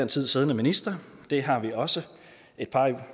tid siddende minister det har vi også et par i